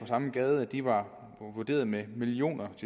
samme gade var vurderet med millioners